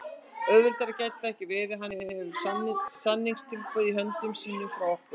Auðveldara gæti það ekki verið. Hann hefur samningstilboð í höndum sínum frá okkur.